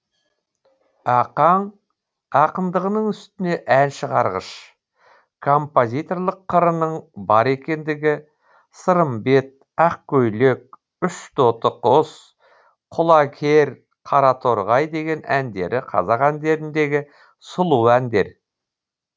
ақаң ақындығының үстіне ән шығарғыш композиторлық қырының бар екендігі сырымбет ақкөйлек үш тоты құс құла кер қара торғай деген әндері қазақ әндеріндегі сұлу әндер